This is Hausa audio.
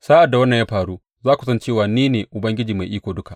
Sa’ad da wannan ya faru, za ku san cewa ni ne Ubangiji Mai Iko Duka.’